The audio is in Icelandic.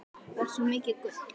Þú ert svo mikið gull.